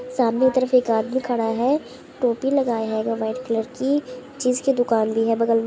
सामने की तरफ एक आदमी खड़ा है। टोपी लगाए हैगा वाईट कलर की। चीज की दुकान भी है बगल --